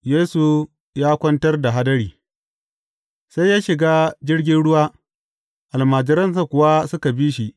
Yesu ya kwantar da hadari Sai ya shiga jirgin ruwa, almajiransa kuwa suka bi shi.